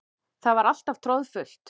Það var alltaf troðfullt.